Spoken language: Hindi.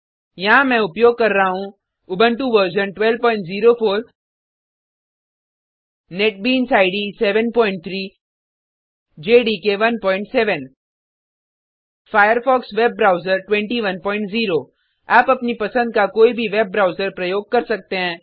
यहाँ मैं उपयोग कर रहा हूँ Ubuntu version 1204 NetBeans IDE 73 JDK 17 Firefox web browser 210 आप अपनी पसंद का कोई भी वेब ब्राउज़र प्रयोग कर सकते हैं